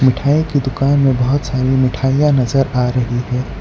मिठाई की दुकान मे बहोत सारे मिठाइयां नज़र आ रही है।